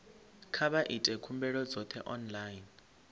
kha vha ite khumbelo dzoṱhe online